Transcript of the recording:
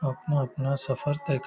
अपना-अपना सफर तय कर --